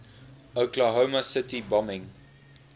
oklahoma city bombing